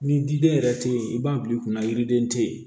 Ni diden yɛrɛ te yen i b'a bil'i kunna yiriden tɛ ye